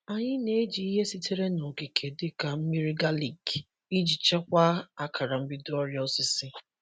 Anyị na-eji ihe sitere n’okike dịka mmiri galik iji chịkwaa akara mbido ọrịa osisi.